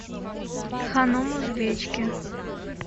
ханум узбечки